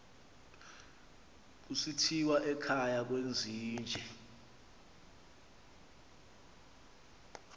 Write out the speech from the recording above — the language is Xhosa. kusithiwa ekhaya kwezinje